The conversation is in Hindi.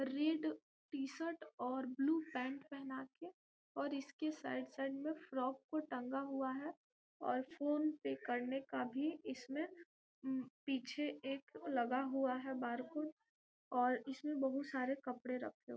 रेड टी-शर्ट और ब्लू पैंट पेहना के और इसके साइड साइड में फ्रॉक को टंगा हुआ है और फोन पे करने का भी इसमें पीछे एक लगा हुआ है बरकोड और इसमें बहुत सारे कपड़े रखे हुए हैं।